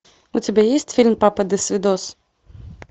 у тебя есть фильм папа досвидос